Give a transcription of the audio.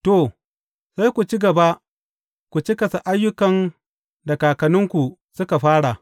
To, sai ku ci gaba ku cikasa ayyukan da kakanninku suka fara!